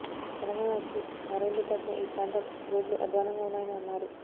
తెలంగాణ వచ్చి ఆరేండ్లు దాటినా ఈ ప్రాంతం రోడ్లు అధ్వానంగా ఉన్నాయని అన్నారు